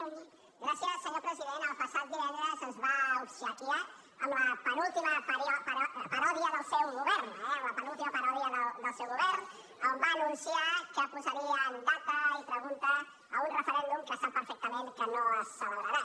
senyor president el passat divendres ens va obsequiar amb la penúltima paròdia del seu govern eh amb la penúltima paròdia del seu govern a on va anunciar que posarien data i pregunta a un referèndum que sap perfectament que no es celebrarà